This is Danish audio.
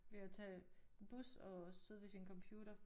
Ved at tage bus og sidde ved sin computer